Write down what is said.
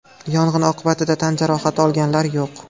Yong‘in oqibatida tan jarohati olganlar yo‘q.